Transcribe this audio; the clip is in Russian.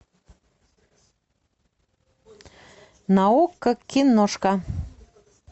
на окко киношка